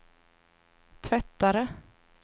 tvättare